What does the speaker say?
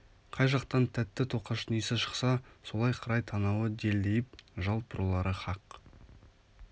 қай жақтан тәтті тоқаштың иісі шықса солай қарай танауы делдиіп жалт бұрылары хақ